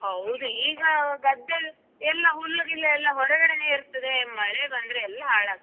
ಹೌದು ಈಗ ಗದ್ದೆ ಎಲ್ಲ ಹುಲ್ಲು ಗಿಲ್ಲೆಲ್ಲಾ ಹೊರಗಡೆನೆ ಇರ್ತದೆ ಮಳೆ ಬಂದ್ರೆ ಎಲ್ಲಾ ಹಾಳಾಗ್ತದೆ.